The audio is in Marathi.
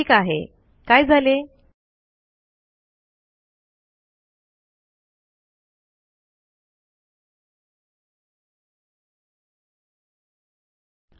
ठीक आहे काय झाले160